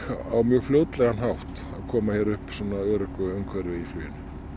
á mjög fljótlegan hátt að koma hér upp öruggu umhverfi í fluginu